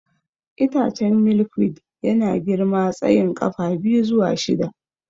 Itacen Milkweed yana girma tsayin ƙafa biyu zuwa shida.